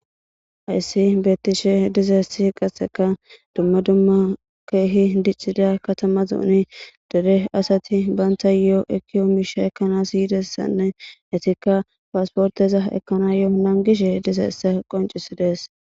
Hayssi beettishe dizayssi qasseka dumma dumma keehi diccida katama zoone dere asati banttayoekkiyo miisha ekkanas yidayssanne eetikka passportteza ekkanas nangishe dizayssa qonccisides.